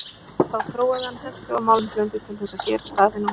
Þá þróaði hann hentuga málmblöndu til þess að gera stafina úr.